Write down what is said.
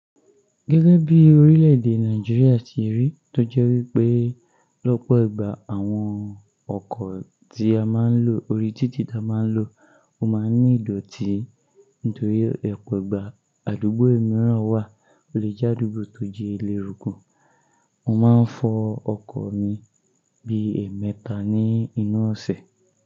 Gẹ́gẹ́ bí orílè-èdè Nàìjíríà tí rí, tó jẹ́ wípé lọ́pọ̀ ìgbà àwọn ọkọ̀ tí a máa ń lò, orí títì ta máa ń lò, ó máa ń ní ìdọ̀tí nítorí opo ìgbà àdúgbò mìíràn wà. O lè jẹ́ àdúgbò tó jẹ́ elérúkù. Mo máa ń fọ ọkọ̀ mi bí e mẹ́ta ní inú ọ̀sẹ̀.